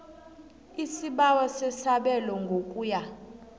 isibawo sesabelo ngokuya